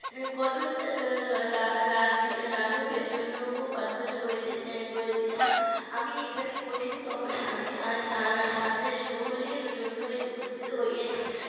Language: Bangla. কষ্ট লাঘবের জন্য প্রার্থনা করিতেছি না আমি এখানে কঠিনতম শাস্তি শাস্তি গ্রহণের জন্যই উপস্থিত হইয়াছি